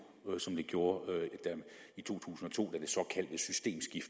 end det gjorde i to tusind og to da